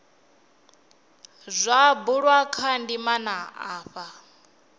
zwa bulwa kha ndimana afha